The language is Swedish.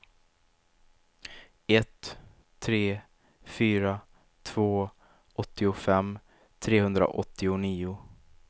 ett tre fyra två åttiofem trehundraåttionio